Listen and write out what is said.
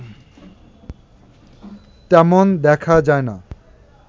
তেমন দেখা যায় না